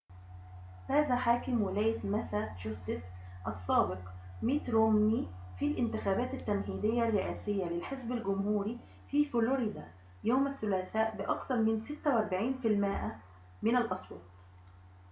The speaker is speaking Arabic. فاز حاكم ولاية ماساتشوستس السابق ميت رومني في الانتخابات التمهيدية الرئاسية للحزب الجمهوري في فلوريدا يوم الثلاثاء بأكثر من 46 في المائة من الأصوات